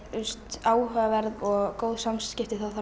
áhugaverð og góð samskipti þá þarf